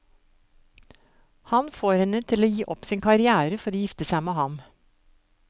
Han får henne til å gi opp sin karrière for å gifte seg med ham.